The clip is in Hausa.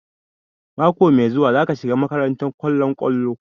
Mako mai zuwa za ka shiga makarantar kollon kwallo?